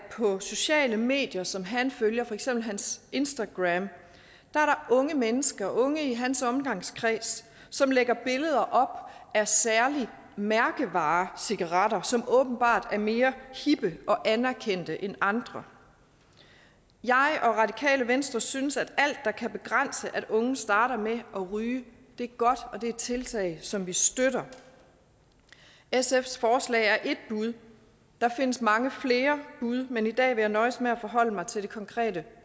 sociale medier som han følger for eksempel hans instagram er unge mennesker unge i hans omgangskreds som lægger billeder op af særlige mærkevarecigaretter som åbenbart er mere hippe og anerkendte end andre jeg og radikale venstre synes at alt der kan begrænse at unge starter med at ryge er godt og det er tiltag som vi støtter sfs forslag er et bud der findes mange flere bud men i dag vil jeg nøjes med at forholde mig til det konkrete